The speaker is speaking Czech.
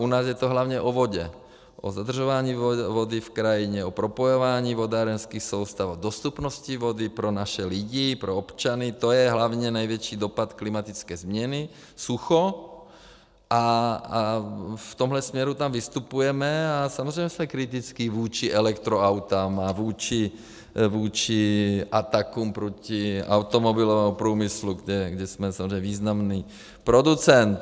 U nás je to hlavně o vodě, o zadržování vody v krajině, o propojování vodárenských soustav, o dostupnosti vody pro naše lidi, pro občany, to je hlavně největší dopad klimatické změny, sucho, a v tomhle směru tam vystupujeme a samozřejmě jsme kritičtí vůči elektroautům a vůči atakům proti automobilovému průmyslu, kde jsme samozřejmě významný producent.